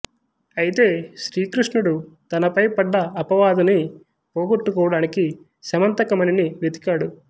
అయితే శ్రీకృష్ణుడు తనపై పడ్డ అపవాదుని పోగొట్టుకోవడానికి శమంతక మణిని వెతికాడు